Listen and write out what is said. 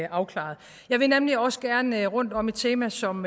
afklaret jeg vil nemlig også gerne rundt om et tema som